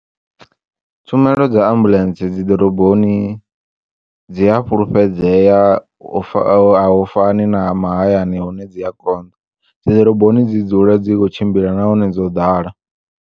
Tshumelo dza ambulentse dzi ḓoroboni dzi a fulufhedzea ufa a hu fani na mahayani hune dzi ya konḓa dzi ḓoroboni dzi dzula dzi tshi kho u tshimbila nahone dzo ḓala.